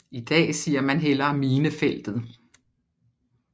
I dag siger man hellere Minefeltet